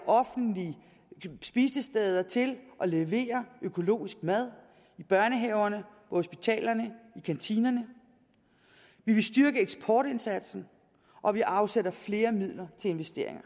offentlige spisesteder til at levere økologisk mad i børnehaverne på hospitalerne og i kantinerne vi vil styrke eksportindsatsen og vi afsætter flere midler til investeringer